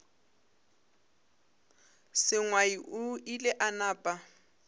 sengwai o ile a napa